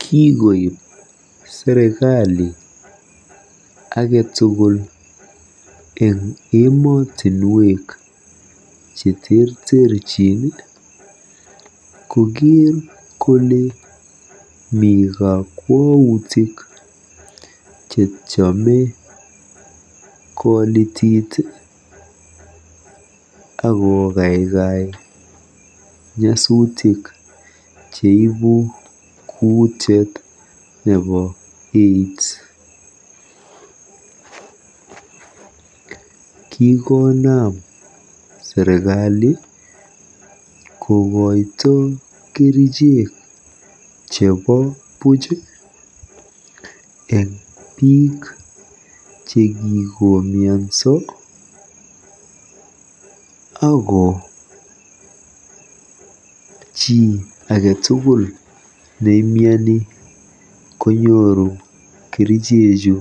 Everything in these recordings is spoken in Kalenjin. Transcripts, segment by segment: Kikoip serikali ake tugul kakwoutik eng emotinwek cheterterchin kokeer kole mi kakwautik chetiame kolitiit akokaikai nyasutik cheibu kuutiet nebo AIDS. Kikonam serikali kokoito kerichek chebo buuch eng biik chekikomianso ako chi age tugul nemiani konyooru kerichechu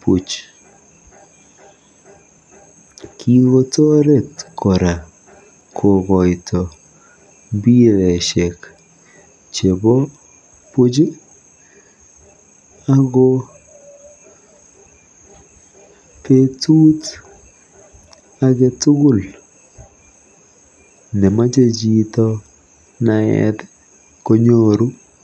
buuch. Kikotoret kora kokoito mbiroshek chebo buuch ako beetut ake tugul nemache chito konyor naet konyoru